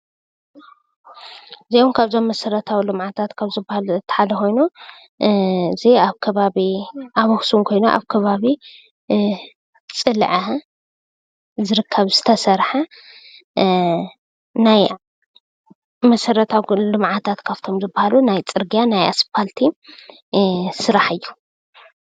እዚውን ካብዞም መስረታዊ ልምዓታት ካብ ዝበሃሉ እቲ ሓደ ኮይኑ እዚ አብ ከባቢ አክሱም ኮይኑ አብ ከባቢ ፅልዐ ዝርከብ ዝተሰርሐ ናይ መስረታዊ አገልግሎታት ልምዓትት ካብቶም ዝበሃሉ ናይ ፅርግያ ናይ እስፓልት ስራሕቲ ስራሕ እዩ፡፡